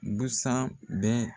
Busan bɛ